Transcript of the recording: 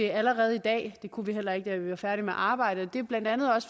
allerede i dag det kunne vi heller ikke da vi var færdige med arbejdet og det er bla